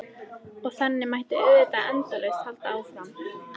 Hann gæti þess vegna setið laglega í súpunni hann Skarphéðinn.